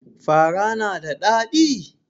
Fara na da ɗadi?